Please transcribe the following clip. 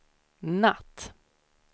natt